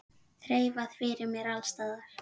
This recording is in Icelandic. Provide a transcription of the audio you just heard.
Þreifað fyrir mér alls staðar.